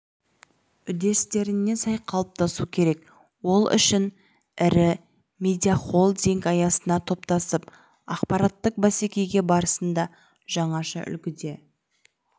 үдерістеріне сай қалыптасу керек ол үшін ірі медиахолдинг аясына топтасып ақпараттық бәсеке барысында жаңаша үлгіде